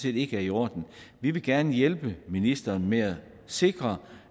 ikke er i orden vi vil gerne hjælpe ministeren med at sikre